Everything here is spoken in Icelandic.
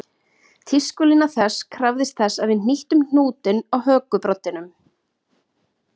Tískulína þess tíma krafðist þess að við hnýttum hnútinn á hökubroddinum